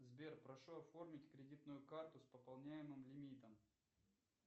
сбер прошу оформить кредитную карту с пополняемым лимитом